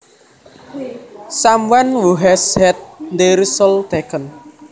Someone who has had their soul taken